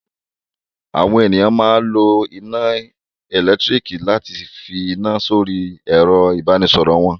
Àwọn ènìyàn máa ń lo iná ẹ̀lẹ́tíríkì láti fi iná sórí ẹ̀rọ-ìbánisọ̀rọ̀ wọn.